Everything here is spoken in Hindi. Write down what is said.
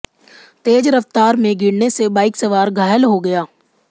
तेज रफ्तार में गिरने से बाइक सवार घायल हो गया